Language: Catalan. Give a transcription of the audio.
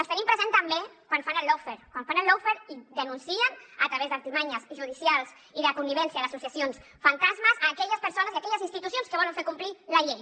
els tenim presents també quan fan el lawfare quan fan el lawfaretravés d’ artimanyes judicials i de connivència d’associacions fantasmes aquelles persones i aquelles institucions que volen fer complir la llei